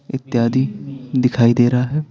इत्यादि दिखाई दे रहा है।